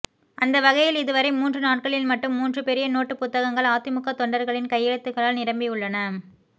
அந்த வகையில் இது வரை மூன்று நாட்களில் மட்டும் மூன்று பெரிய நோட்டு புத்தகங்கள் அதிமுக தொண்டர்களின் கையெழுத்துகளால் நிரம்பியுள்ளன